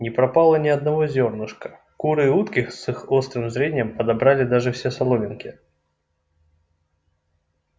не пропало ни одного зёрнышка куры и утки с их острым зрением подобрали даже все соломинки